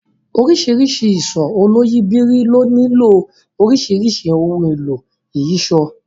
Oríṣiríṣi ìṣó oloyìibírí ló nílò oríṣiríṣi ohun èlò ìyíṣòó